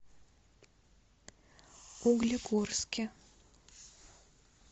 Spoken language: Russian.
углегорске